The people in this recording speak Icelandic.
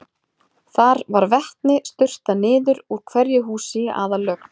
Þar var vatni sturtað niður úr hverju húsi í aðallögn.